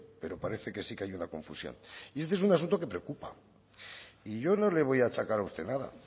pero parece que sí que hay una confusión y este es un asunto que preocupa y yo no le voy a achacar a usted nada